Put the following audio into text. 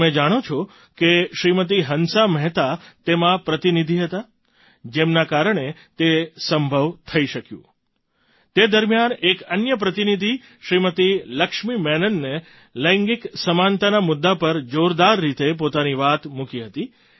શું તમે જાણો છો કે શ્રીમતી હંસા મહેતા તેમાં પ્રતિનિધિ હતાં જેમના કારણે તે સંભવ થઈ શક્યું તે દરમિયાન એક અન્ય પ્રતિનિધિ શ્રીમતી લક્ષ્મી મેનને લૈંગિક સમાનતાના મુદ્દા પર જોરદાર રીતે પોતાની વાત મૂકી હતી